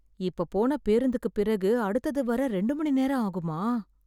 இப்பப் போன பேருந்துக்குப் பிறகு அடுத்தது வர இரண்டு மணி நேரம் ஆகுமா?